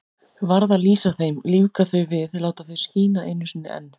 Varð að lýsa þeim, lífga þau við, láta þau skína einu sinni enn.